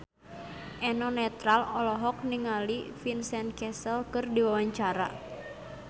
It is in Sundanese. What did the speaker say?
Eno Netral olohok ningali Vincent Cassel keur diwawancara